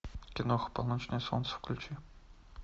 киноха полночное солнце включи